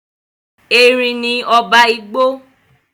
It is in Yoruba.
Erin ni ọba igbó.